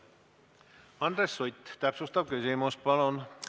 Andres Sutt, täpsustav küsimus, palun!